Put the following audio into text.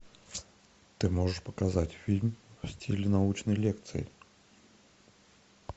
ты можешь показать фильм в стиле научной лекции